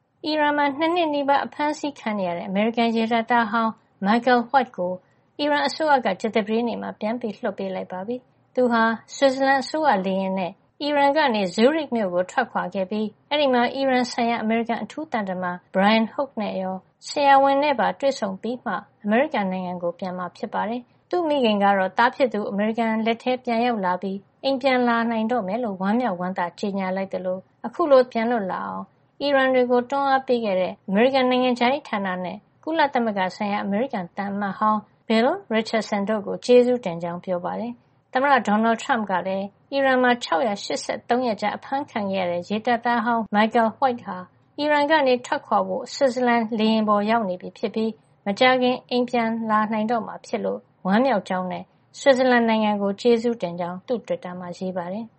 အီရန်မှာ ၂ နှစ်နီးပါး အဖမ်းခံနေရတဲ့ အမေရိကန် ရေတပ်သားဟောင်း Michael White ကို အီရန်အစိုးရက ကြာသပတေးနေ့မှာ ပြန်လွှတ်ပေးလိုက်ပါပြီ။ သူဟာ ဆွစ်ဇလန်အစိုးရ လေယာဉ်နဲ့ အီရန်ကနေ Zurich မြို့ကို ထွက်ခွါခဲ့ပြီး အဲဒီမှာ အီရန်ဆိုင်ရာ အမေရိကန်အထူးသံတမန် Brian Hook နဲ့ ရော ဆရာဝန်နဲ့ပါ တွေ့ဆုံပြီးမှ အမေရိကန်နိုင်ငံကို ပြန်မှာ ဖြစ်ပါတယ်။ သူ့မိခင်ကတော့ သားဖြစ်သူ အမေရိကန် လက်ထဲ ပြန်ရောက်လာပြီး အိမ်ပြန်လာနိုင်တော့မယ်လို့ ဝမ်းမြောက်ဝမ်းသာ ကြေညာခဲ့သလို အခုလို သားဖြစ်သူ ပြန်လွတ်လာတာအောင် အီရန်တွေကိုတွန်းအားပေးခဲ့တဲ့ အမေရိကန် နိုင်ငံခြားရေးဌာနနဲ့ ကုလသမဂ္ဂဆိုင်ရာ အမေရိကန်သံအမတ်ဟောင်း Bill Richardson တို့ကို ကျေးဇူးတင်ကြောင်း ပြောပါတယ်။ သမ္မတ ဒေါ်နယ်ထရမ့်ကလည်း အီရန်မှာ ၆၈၃ ရက်ကြာ အဖမ်းခံနေရတဲ့ ရေတပ်သားဟောင်း Michael White ဟာ အီရန်ကနေ ထွက်ခွါဖို့ ဆွစ်ဇလန်လေယာဉ်ပေါ် ရောက်နေပြီဖြစ်ပြီး မကြာခင်မှာ အိမ်ပြန်လာနိုင်တော့မှာဖြစ်လို့ ဝမ်းမြောက်ကြောာင်းနဲ့ ဆွစ်ဇလန်နိုင်ငံကို ကျေးဇူးတင်ကြောင်း သူ့တွစ်တာမှာ ရေးပါတယ်။